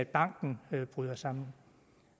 banken bryder sammen